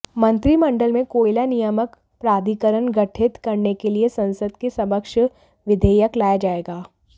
मंत्रिमंडल में कोयला नियामक प्राधिकरण गठित करने के लिए संसद के समक्ष विधेयक लाया जाएगा